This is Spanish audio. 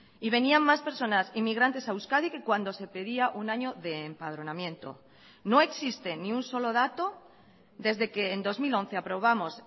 y venían más personas inmigrantes a euskadi que cuando se pedía un año de empadronamiento no existe ni un solo dato desde que en dos mil once aprobamos